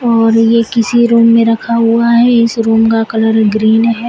और ये किसी रूम में रखा हुआ है इस रूम का कलर ग्रीन है।